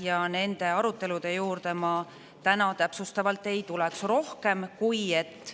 Ja nende arutelude juurde ma täna täpsustavalt ei tuleks rohkem, kui et